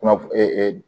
Kunnafon